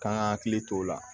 Kan ka hakili to o la